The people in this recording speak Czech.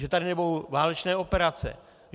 Že tady nebudou válečné operace.